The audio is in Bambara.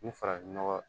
Ni farafin nɔgɔ